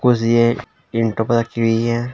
कुछ यह पे रखी हुई है।